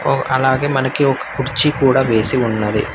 ఓ అలాగే మనకి ఒక కుర్చీ కూడా వేసి ఉన్నది.